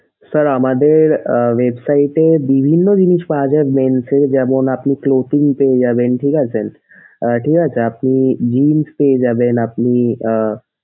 sir আমাদের website এ বিভিন্ন জিনিস পাওয়া যায় men এর যেমন আপনি clothing পেয়ে যাবেন ঠিক আছে। ঠিক আছে আপনি jeans পেয়ে যাবেন আপনি আহ,